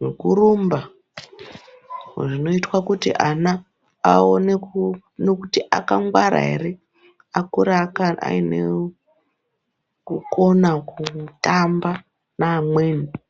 nekurumba zvinoitwe kuti ana aone ku kuti akangwara ere akure aine kukona kutamba neamweni.